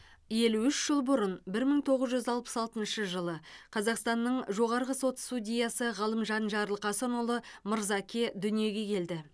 елу үш жыл бұрын бір мың тоғыз жүз алпыс алтыншы жылы қазақстанның жоғарғы сот судьясы ғалымжан жарылқасынұлы мырзаке дүниеге келді